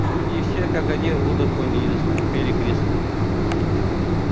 судьи все как один выдохнули и заскрипели креслами